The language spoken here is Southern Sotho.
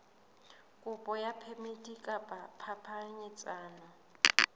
kopo ya phemiti ya phapanyetsano